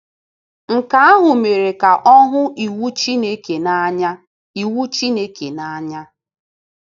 Nke ahụ mere ka ọ hụ iwu Chineke n’anya iwu Chineke n’anya.